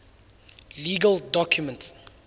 legal documents